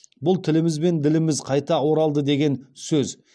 бұл тіліміз бен діліміз қайта оралды деген сөз